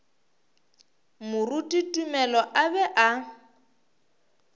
moruti tumelo a be a